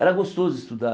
Era gostoso estudar.